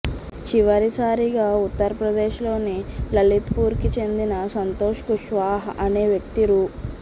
చివరిసారిగా ఉత్తర్ప్రదేశ్లోని లలిత్పూర్కి చెందిన సంతోష్ కుష్వాహా అనే వ్యక్తి రూ